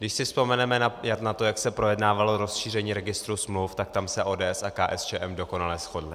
Když si vzpomeneme na to, jak se projednávalo rozšíření registru smluv, tak tam se ODS a KSČM dokonale shodly.